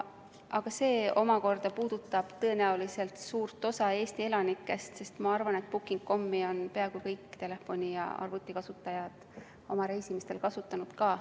See puudutab tõenäoliselt suurt osa Eesti elanikest, sest ma arvan, et booking.com-i on peaaegu kõik telefoni- ja arvutikasutajad oma reisimistel kasutanud.